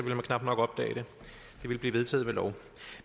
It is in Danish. man knap nok opdage det det ville blive vedtaget ved lov